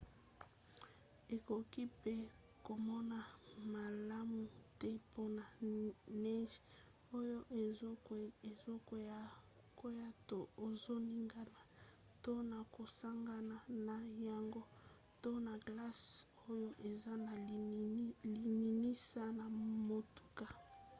okoki mpe komona malamu te mpona neige oyo ezokwea to ezoningana to na kosangana na yango to na glace oyo eza na lininisa ya motuka